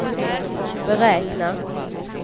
beräkna